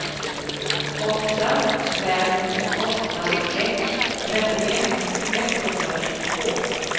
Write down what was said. åtta fem åtta ett trettioett etthundratjugotvå